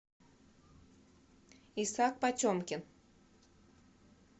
исаак потемкин